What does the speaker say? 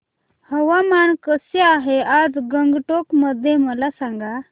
हवामान कसे आहे आज गंगटोक मध्ये मला सांगा